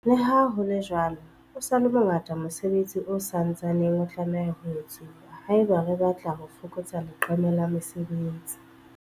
Leha ho le jwalo, o sa le mo ngata mosebetsi o sa ntsaneng o tlameha ho etsuwa haeba re batla ho fokotsa leqeme la mesebetsi.